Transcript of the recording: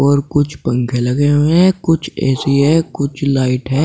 और कुछ पंखे लगे हुए हैं कुछ ए_सी है कुछ लाइट हैं।